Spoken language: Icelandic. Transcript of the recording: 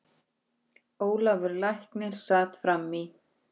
Hún er þræll hans.